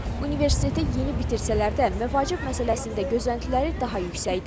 Universiteti yeni bitirsələr də, məvacib məsələsində gözləntiləri daha yüksəkdir.